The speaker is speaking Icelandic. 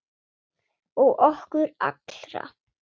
Og okkur alla.